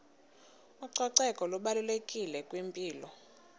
ucoceko lubalulekile kwimpilo